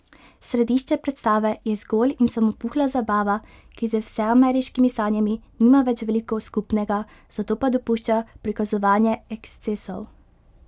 Središče predstave je zgolj in samo puhla zabava, ki z vseameriškimi sanjami nima več veliko skupnega, zato pa dopušča prikazovanje ekscesov.